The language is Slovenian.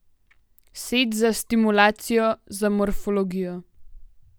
Set za stimulacijo, za morfologijo.